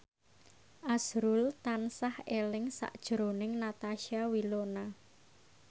azrul tansah eling sakjroning Natasha Wilona